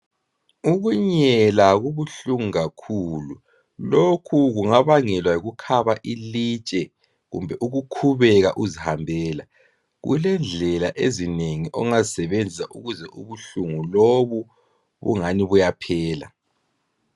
Ukunyela kubuhlungu kakhulu, lokhu kungabangelwa yikukhaba ilitshe kumbe ukukhubeka uzihambela. Kulendlela ezinengi ongazisebenzisa ukuze ubuhlungu lobo bunganani buyaphela.